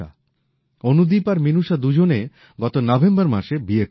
অনুদীপ আর মিনুষা দুজনে গত নভেম্বর মাসে বিয়ে করেছেন